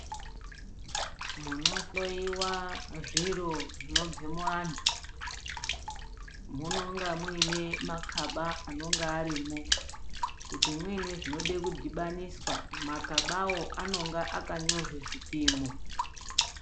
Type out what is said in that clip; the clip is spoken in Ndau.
Munohloyiwa zviro zvinobve muantu munenge muine makaba anonga arimo kuti muine zvinode kudhibaniswa makabawo anenge akanyorwa zvipimo.